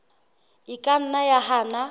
e ka nna ya hana